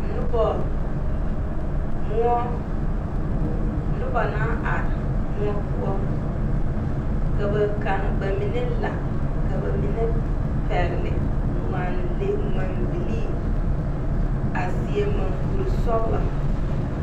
Noba moɔ noba naŋ are moɔ poɔ ka ba kaŋ ka ba mine la ka ba mine pɛgle ŋmanlee ŋmanbilii a seɛ maŋkurisɔglɔ.